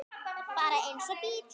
Bara eins og bíll.